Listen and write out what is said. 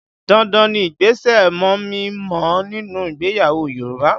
Dandan ni ìgbésẹ̀ mọ̀mí-n-mọ̀ọ́ nínú ìgbéyàwó Yoruba